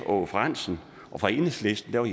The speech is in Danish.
aage frandsen fra enhedslisten var